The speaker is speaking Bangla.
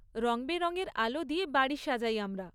রঙবেরঙের আলো দিয়ে বাড়ি সাজাই আমরা।